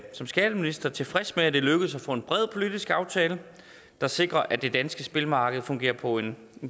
som skatteminister tilfreds med at det er lykkedes at få en bred politisk aftale der sikrer at det danske spilmarked fungerer på en